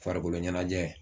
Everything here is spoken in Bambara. Farikolo ɲɛnajɛ